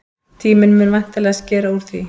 Tíminn mun væntanlega skera úr því.